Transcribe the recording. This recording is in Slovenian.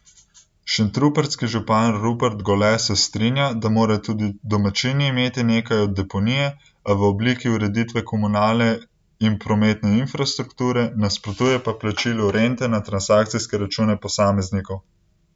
Šentrupertski župan Rupert Gole se strinja, da morajo tudi domačini imeti nekaj od deponije, a v obliki ureditve komunalne in prometne infrastrukture, nasprotuje pa plačilu rente na transakcijske račune posameznikom.